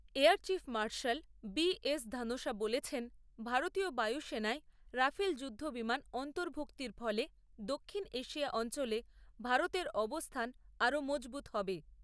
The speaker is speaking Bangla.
Air chief marshal B S Dhanoa বলেছেন, ভারতীয় বায়ু সেনায় রাফাল যুদ্ধ বিমান অন্তর্ভুক্তির ফলে দক্ষিণ এশিয়া অঞ্চলে ভারতের অবস্থান আরও মজবুত হবে।